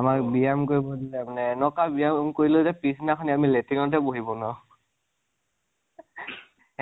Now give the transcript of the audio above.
আমাক বিৰাম কৰিব নিদিলে মানে এনেকুৱা বিৰাম কৰিলে যে পিছ্দিনাখন আমি লাট্ৰিন টে বহিব নোৱাৰিলোঁ।